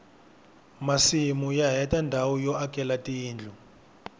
masimu ya heta ndhawu yo akela tindlu